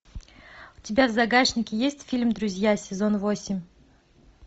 у тебя в загашнике есть фильм друзья сезон восемь